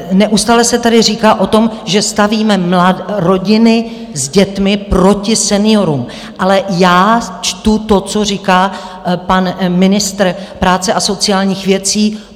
Neustále se tady říká o tom, že stavíme rodiny s dětmi proti seniorům, ale já čtu to, co říká pan ministr práce a sociálních věcí.